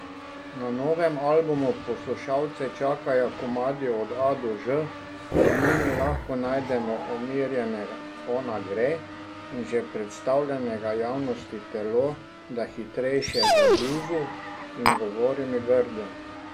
Na novem albumu poslušalce čakajo komadi od A do Ž, med njimi lahko najdemo umirjenega Ona gre in že predstavljenega javnosti Telo, do hitrejše Zabluzu in Govori mi grdo.